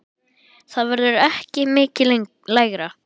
Það verður ekki mikið lægra.